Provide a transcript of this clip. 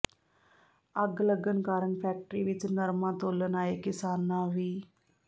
ਅੱਗ ਲੱਗਣ ਕਾਰਨ ਫੈਕਟਰੀ ਵਿਚ ਨਰਮਾ ਤੋਲਣ ਆਏ ਕਿਸਾਨਾਂ ਵਿ